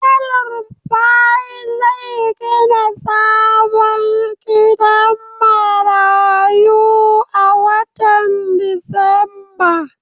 Elrufai zai gina sabon gidan marayu a watan disamba.